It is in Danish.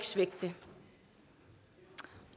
svække det